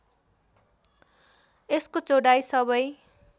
यसको चौडाइ सबै